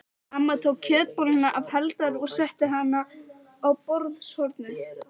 Amma tók kjötbolluna af Halldóri og setti hana á borðshornið.